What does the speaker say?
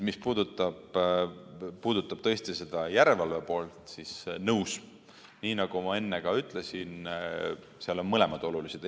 Mis puudutab tõesti seda järelevalve poolt, siis nõus: nii nagu ma enne ütlesin, mõlemad on olulised.